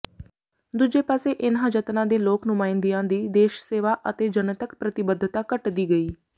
ਦੂਜੇ ਪਾਸੇ ਇਨ੍ਹਾਂ ਜਨਤਾ ਦੇ ਲੋਕ ਨੁਮਾਇੰਦਿਆਂ ਦੀ ਦੇਸ਼ ਸੇਵਾ ਅਤੇ ਜਨਤਕ ਪ੍ਰਤੀਬੱਧਤਾ ਘਟਦੀ ਗਈ